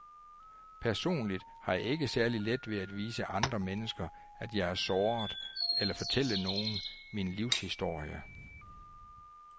Personligt har jeg ikke særlig let ved at vise andre mennesker, at jeg er såret, eller fortælle nogen min livshistorie.